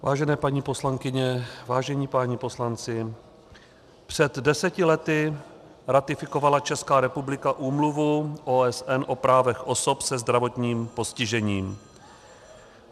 Vážené paní poslankyně, vážení páni poslanci, před deseti lety ratifikovala Česká republika Úmluvu OSN o právech osob se zdravotním postižením.